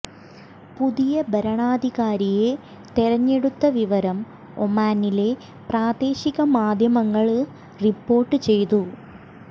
പുതിയ ഭരണാധാകാരിയെ തെരഞ്ഞെടുത്ത വിവരം ഒമാനിലെ പ്രാദേശിക മാധ്യമങ്ങള് റിപ്പോര്ട്ട് ചെയ്തു